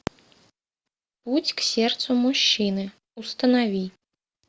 путь к сердцу мужчины установи